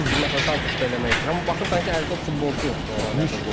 Məsələn Santuşu da eləmək istəyirəm, amma baxırsan ki, əldə o futbolçu yoxdur onu oynatmağa.